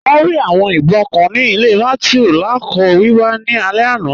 Wọn rí awọn ìbọǹ kàn ni ilẹ̀ Mathew lakọọ̀ wíwà ni alẹ̀ àná.